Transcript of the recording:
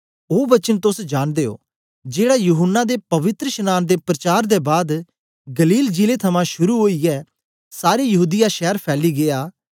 ओ वचन तोस जांनदे ओ जेड़ा यूहन्ना दे पवित्रशनांन दे प्रचार दे बाद गलील जिले थमां शुरू ओईयै सारे यहूदीया शैर फैली गीया